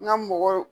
N ka mɔgɔ